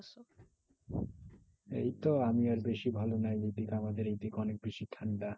এই তো আমি আর বেশি ভালো নাই। আমাদের এইদিকে অনেক বেশি ঠান্ডা।